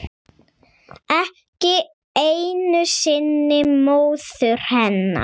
Ekki einu sinni móður hennar.